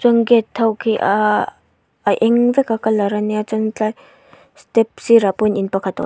tin gate ho khi ahhh a eng veka colour a nia chuan tlai step sirah pawh hian in pakhat a aw--